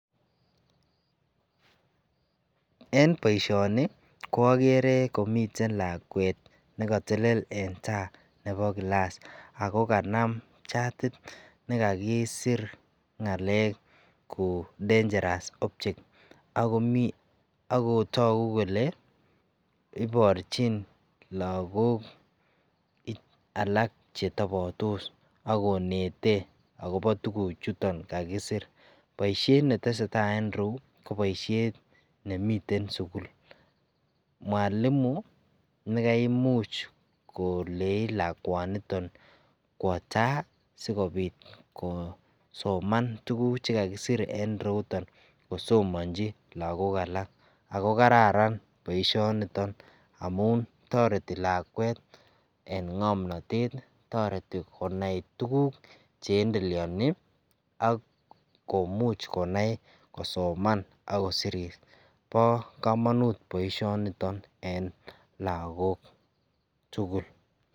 en boishoni ko ogere komiten lakweet negotelel en taa nebo gilaas ago kanam chatit negaggisir koo dangerous objects agotogu kolee iborchin lagook alak chetobotos ak konete agobo tuguuk chuton kagisir, boishet netesetai en ireyuu ko boishent nemiten sugul mwalimu negaimuch koleeii lakwaat niton kwooo taa sigobit kosoman tuguk chegagisir en ireuuton kosomonchi lagook alak ago kararan boishoniton amuuntoreti lakweet en ngomnoteet, toreti konai tuguk cheendeleoni ak komuch konai kosoman ak kosiir, bo komonuut boishoniton en lagook tugul.